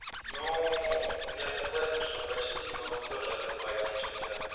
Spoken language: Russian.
ну я согласен что почти но все же адекватнее чем те